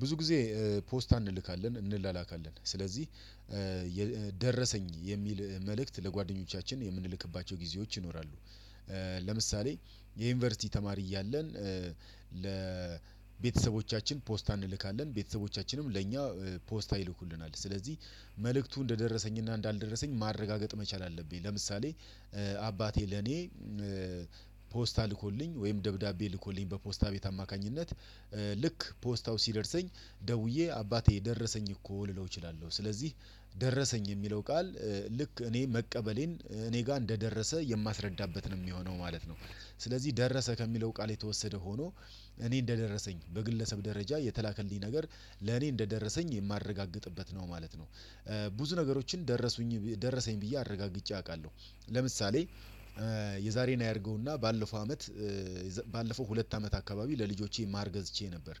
ብዙ ጊዜ ፖስታ እንልካለን እንላላካለን ስለዚህ ደረሰኝ የሚል መልእክት ለጓደኞቻችን የምንልክባቸው ጊዜዎች ይኖራሉ። ለምሳሌ የዩኒቨርሲቲ ተማሪ እያለን ለቤተሰቦቻችን ፖስታ እንልካለን ቤተሰቦቻችንም ለእኛ ፖስታ ይልኩልናል ስለዚህ መልእክቱ እንደደረሰኝና እንዳልደረሰኝ ማረጋገጥ መቻል አለብኝ። ለምሳሌ አባቴ ለኔ ፖስታ ልኮልኝ ወይም ደብዳቤ ልኮልኝ በፖስታ ቤት አማካኝነት ልክ ፖስታው ሲደርሰኝ ደውዬ አባቴ ደረሰኝ እኮ ልለው እችላለሁ። ስለዚህ ደረሰኝ የሚለው ቃል ልክ እኔ መቀበሌን እኔ ጋር እንደደረሰ የማስረዳበት ነው የሚሆነው ማለት ነው። ስለዚህ ደረሰ ከሚለው ቃል የተወሰደ ሆኖ። እኔ እንደደረሰኝ በግለሰብ ደረጃ የተላከልኝ ነገር ለኔ እንደደረሰኝ የማረጋግጥበት ነው ማለት ነው። ብዙ ነገሮችን ደረሱኝ ደረሰኝ ብዬ አረጋግጬ አውቃለሁ። ለምሳሌ የዛሬን አያርገውና ባለፈው አመት ባለፈው ሁለት አመት አካባቢ ለልጆቼ ማር ገዝቼ ነበር።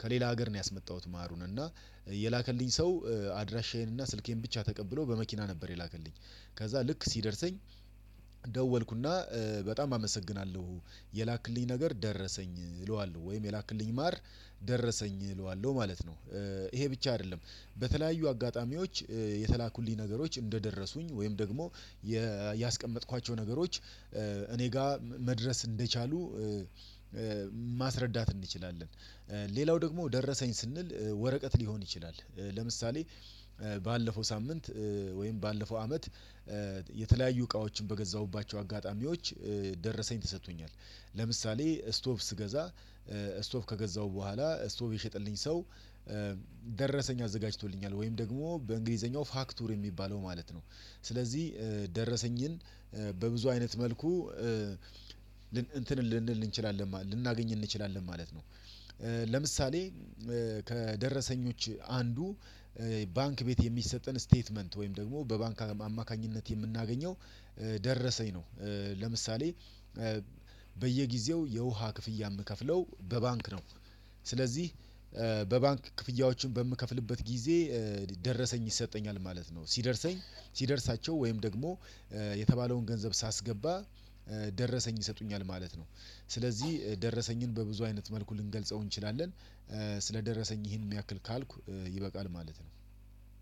ከሌላ ሀገር ነው ያስመጣሁት ማሩን እና የላከልኝ ሰው አድራሻዬን እና ስልኬን ብቻ ተቀብሎ በመኪና ነበር የላከልኝ። ከዛ ልክ ሲደርሰኝ ደወልኩና በጣም አመሰግናለሁ የላክልኝ ነገር ደረሰኝ እለዋልው ወይም የላክልኝ ማር ደረሰኝ እለዋለሁ ማለት ነው። ይሄ ብቻ አይደለም። በተለያዩ አጋጣሚዎች የተላኩልኝ ነገሮች እንደደረሱኝ ወይም ደግሞ ያስቀመጥኳቸው ነገሮች እኔ ጋር መድረስ እንደቻሉ ማስረዳት እንችላለን። ሌላው ደግሞ ደረሰኝ ስንል ወረቀት ሊሆን ይችላል። ለምሳሌ ባለፈው ሳምንት ወይም ባለፈው አመት እቃዎችን በገዛሁባቸው አጋጣሚዎች ደረሰኝ ተሰጥቶኛል። ለምሳሌ ስቶቭ ስገዛ ስቶፕ ከገዛሁ በኋላ ስቶፕ የሸጠልኝ ሰው ደረሰኝ አዘጋጅቶልኛል ወይም ደግሞ በእንግሊዘኛው ፋክቱር የሚባለው ማለት ነው። ስለዚህ ደረሰኝን በብዙ አይነት መልኩ እንትን ልንል እንችላለን ልናገኝ እንችላለን ማለት ነው። ለምሳሌ ከደረሰኞች አንዱ ባንክ ቤት የሚሰጠን ስቴትመንት ወይም ደግሞ በባንክ አማካኝነት የምናገኘው ደረሰኝ ነው። ለምሳሌ በየጊዜው የውሃ ክፍያ የምከፍለው በባንክ ነው። ስለዚህ በባንክ ክፍያዎችን በምከፍልበት ጊዜ ደረሰኝ ይሰጠኛል ማለት ነው ሲደርሰኝ ሲደርሳቸው ወይም ደግሞ የተባለውን ገንዘብ ሳስገባ ደረሰኝ ይሰጡኛል ማለት ነው። ስለዚህ ደረሰኝን በብዙ አይነት መልኩ ልንገልጸው እንችላለን። ስለደረሰኝ ይሄን ያክል ካልኩ ይበቃል ማለት ነው።